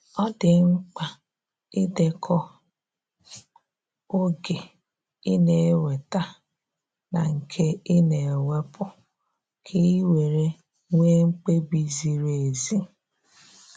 ọ di mkpa idekọ oge i na enweta na nke ị na wepụ ka iwere nwe mkpebi ziri ezi.